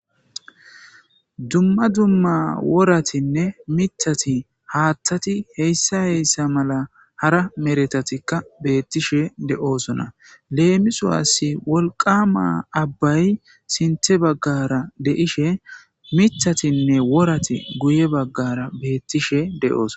dumma dumma woratinne mitati haattati heyssa heyssa mala hara meretatikka beettishe de7oosona leemisowasi wolqama abbay sinte baggara deishe mitatinne worati guye baggara beettishe de7ooso